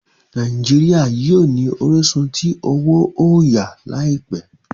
Nàìjíríà yíò ni orisun tí owo oya láìpé.